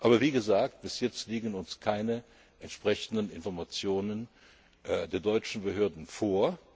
Aber wie gesagt, bis jetzt liegen uns keine entsprechenden Informationen der deutschen Behörden vor.